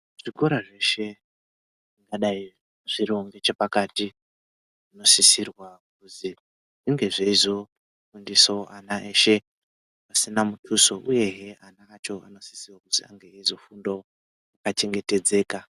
Zvikora zveshe zvingadai zviriwo ngechepakati zvinksisirwa kuzi zvinge zveizofundisa ana eshe asina muduso uyehe ana acho anosise kuzi ange eizofundawo akachengetedzeka.